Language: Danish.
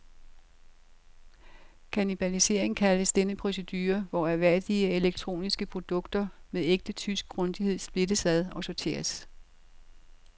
Kannibalisierung kaldes denne procedure, hvor ærværdige elektroniske produkter med ægte tysk grundighed splittes ad og sorteres.